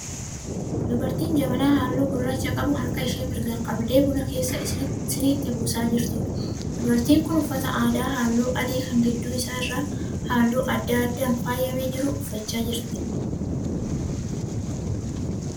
Dubartii jabanaa halluu gurraacha qabu harka ishee mirgaan qabdee buna keessaa siniitti buusaa jirtuudha. Dubartiin kun uffata aadaa halluu adii kan gidduu isaa irraa halluu adda addaan faayyamee jiru uffachaa jirti.